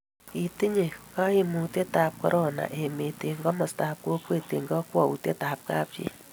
kitiny kaimutietab korona emet eng' komostab kokwet eng' kakwoutietab kapchii